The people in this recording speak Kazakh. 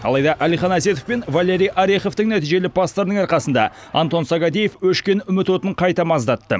алайда әлихан әсетов пен валерий ореховтың нәтижелі пастарының арқасында антон сагадеев өшкен үміт отын қайта маздатты